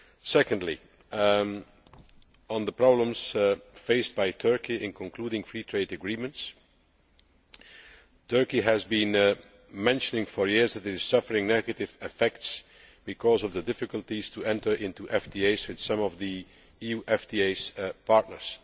Secondly, on the problems faced by Turkey in concluding free trade agreements, Turkey has been saying for years that it is suffering negative effects because of the difficulties of entering into FTAs with some of the EU's FTA partners.